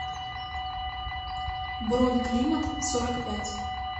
бронь климатсорокпять